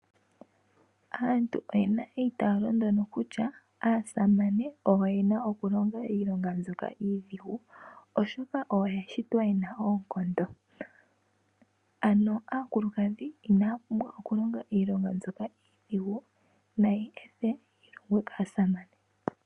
Aantu oyena eitaalo ndono kutya aasamane oyo yena okulonga iilonga mbyoka iidhigu, oshoka oyo ya shitwa yena oonkondo. Ano aakulukadhi inaya pumbwa oku longa iilonga mbyoka iidhigu, nayeethe yi longwe kaasamane.